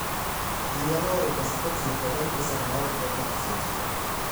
ji nyalo oro pesa kotiyo kod m-pesa maok oketho seche